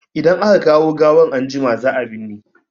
Idan aka kawo gawan anjima, za a binne.